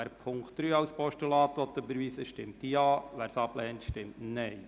Wer Punkt 3 als Postulat überweisen will, stimmt Ja, wer dies ablehnt, stimmt Nein.